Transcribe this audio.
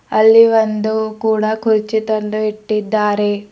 ಅಲ್ಲಿ ಒಂದು ಕೂಡ ಕುರ್ಚಿ ತಂದು ಇಟ್ಟಿದ್ದಾರೆ.